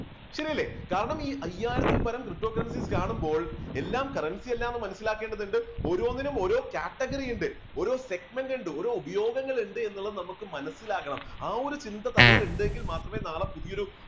ശരിയല്ലേ കാരണം ഈ അയ്യായിരത്തിൽ പരം കാണുമ്പോൾ എല്ലാം currency അല്ലാന്ന് മനസ്സിലാക്കേണ്ടതുണ്ട് ഓരോന്നിനും ഓരോ category ഉണ്ട്, ഓരോ segment ഉണ്ട് ഓരോ ഉപയോഗങ്ങളുണ്ട് എന്നുള്ളത് നമുക്ക് മനസ്സിലാകണം ആ ഒരു ചിന്ത തലയിൽ ഉണ്ടെങ്കിൽ മാത്രമേ നാളെ പുതിയൊരു